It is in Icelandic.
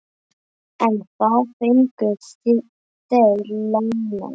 En hvað fengu þeir lánað?